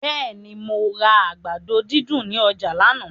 Bẹ́ẹ̀ni, mo ra àgbàdo dídùn ní ọjà lánàá.